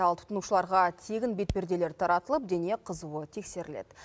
ал тұтынушыларға тегін бетперделер таратылып дене қызуы тексеріледі